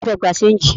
Ta ló fẹ́ gbé ṣéńjì?